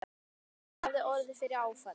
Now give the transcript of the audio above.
Róbert hafði orðið fyrir áfalli.